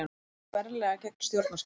Gengur berlega gegn stjórnarskrá